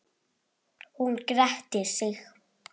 Hún gretti sig.